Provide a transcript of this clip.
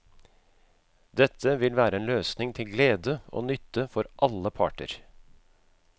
Dette vil være en løsning til glede og nytte for alle parter.